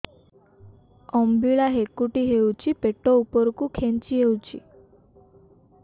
ଅମ୍ବିଳା ହେକୁଟୀ ହେଉଛି ପେଟ ଉପରକୁ ଖେଞ୍ଚି ହଉଚି